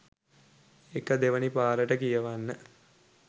ඒක දෙවනි පාරට කියවන්න